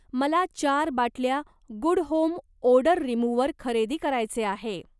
मला चार बाटल्या गुड होम ओडर रिमूव्हर खरेदी करायचे आहे.